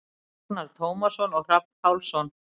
Agnar Tómasson og Hrafn Pálsson.